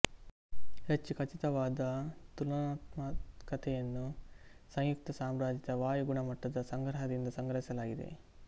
ಹೆಚ್ಚು ಖಚಿತವಾದ ತುಲನಾತ್ಮಕತೆಯನ್ನು ಸಂಯುಕ್ತ ಸಾಮ್ರಾಜ್ಯದ ವಾಯು ಗುಣಮಟ್ಟದ ಸಂಗ್ರಹದಿಂದ ಸಂಗ್ರಹಿಸಲಾಗಿದೆ